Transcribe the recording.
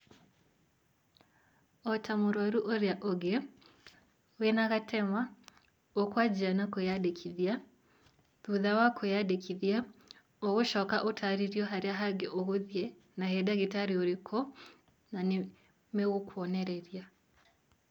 Ota mũrwaru ũrĩa ũngĩ, wĩna gatema, ũkwanjia na kwĩyandĩkithia, thutha wa kwĩyandĩkithia, ũgũcoka ũtarĩrio harĩa hangĩ ũgũthiĩ, na he ndagĩtarĩ ũrĩkũ, na nĩ megũkuonereria.